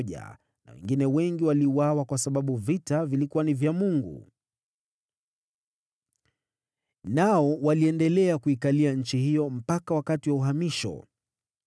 na wengine wengi waliuawa kwa sababu vita vilikuwa ni vya Mungu. Nao waliendelea kuikalia nchi hiyo mpaka wakati wa uhamisho.